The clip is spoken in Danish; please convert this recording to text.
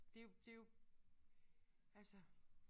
Det er jo det er jo altså